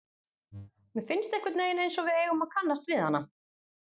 Mér finnst einhvern veginn einsog við eigum að kannast við hana.